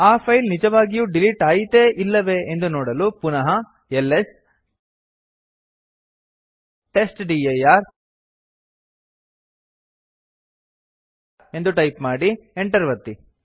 ಆ ಫೈಲ್ ನಿಜವಾಗಿಯೂ ಡಿಲಿಟ್ ಆಯಿತೇ ಅಲ್ಲವೇ ಎಂದು ನೋಡಲು ಪುನಃ ಎಲ್ಎಸ್ ಟೆಸ್ಟ್ಡಿರ್ ಎಂದು ಟೈಪ್ ಮಾಡಿ enter ಒತ್ತಿ